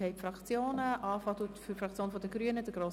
Wir sind bei den Fraktionen angelangt.